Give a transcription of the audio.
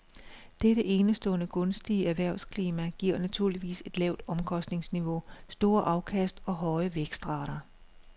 Dette enestående gunstige erhvervsklima giver naturligvis et lavt omkostningsniveau, store afkast og høje vækstrater.